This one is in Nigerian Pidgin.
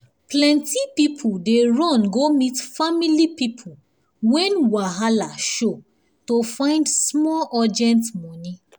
plenty people dey run go meet family people when wahala show to find small urgent money.